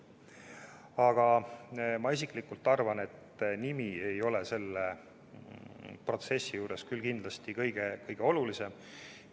Aga ma isiklikult arvan, et nimi ei ole selle protsessi juures küll kindlasti kõige olulisem.